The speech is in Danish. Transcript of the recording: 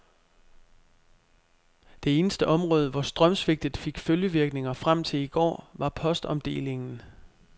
Det eneste område, hvor strømsvigtet fik følgevirkninger frem til i går, var postomdelingen.